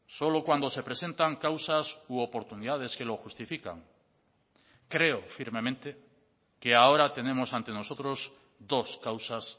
solo cuando se presentan causas u oportunidades que lo justifican creo firmemente que ahora tenemos ante nosotros dos causas